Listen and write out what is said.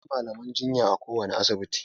Akwai malaman jinya a kowane asibiti.